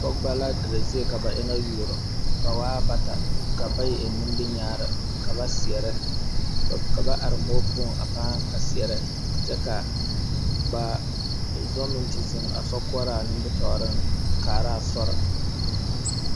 Pɔgebo la dire zie ka ba eŋa zaa youro ba waa bata la bayi eŋ nimi kyaani ka ba seɛrɛ ka ba are muo poɔ a paa seɛrrɛ kyɛ ka ba zɔ meŋ te zeŋ a sokoɔraa noɔriŋ kaara a sori.